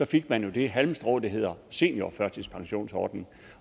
fik man jo det halmstrå der hedder seniorførtidspensionsordningen